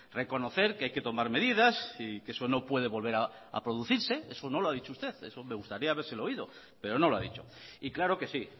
reconocer que hay que tomar medidas y que eso no puede volver a producirse eso no lo ha dicho usted me gustaría habérselo oído pero no lo ha dicho y claro que sí